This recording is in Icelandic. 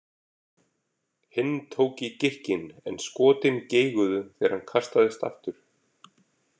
Hinn tók í gikkinn en skotin geiguðu þegar hann kastaðist aftur.